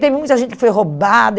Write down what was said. Teve muita gente que foi roubada.